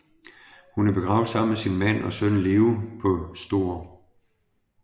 Hun er begravet sammen med sin mand og søn Leo på St